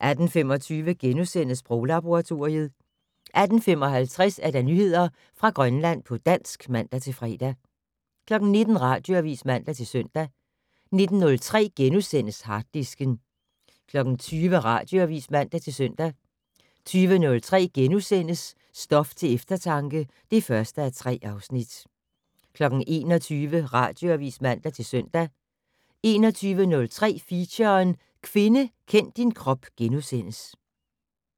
18:25: Sproglaboratoriet * 18:55: Nyheder fra Grønland på dansk (man-fre) 19:00: Radioavis (man-søn) 19:03: Harddisken * 20:00: Radioavis (man-søn) 20:03: Stof til eftertanke (1:3)* 21:00: Radioavis (man-søn) 21:03: Feature: Kvinde kend din krop *